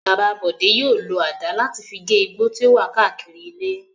Bàbá Bọ̀dé yóò lo àdá láti fi gé igbó tí ó wà káàkiri ilé.